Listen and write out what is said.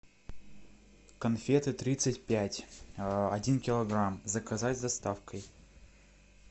конфеты тридцать пять один килограмм заказать с доставкой